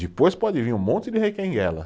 Depois pode vir um monte de requenguela.